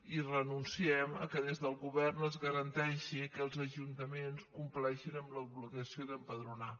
i renunciem que des del govern es garanteixi que els ajuntaments compleixin amb l’obligació d’empadronar